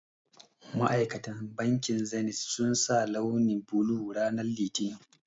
Ma'aikatan bankin zenith sun sa launi blue ranan litinin